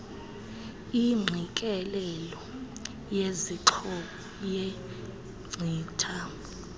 ingqikelelelo yezixhobo yenkcitha